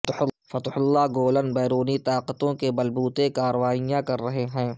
فتح اللہ گولن بیرونی طاقتوں کے بل بوتے کاروائیاں کر رہے ہیں